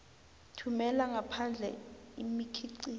thumela ngaphandle imikhiqizo